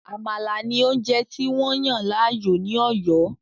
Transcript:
“Àmàlà” ni oúnjẹ tí wọ́n yàn láàyò ní Òyó.